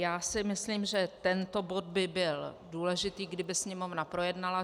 Já si myslím, že tento bod by byl důležitý, kdyby Sněmovna projednala.